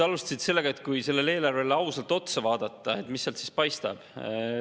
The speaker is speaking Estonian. Alustasite sellest, et kui eelarvele ausalt otsa vaadata, mis sealt siis paistab.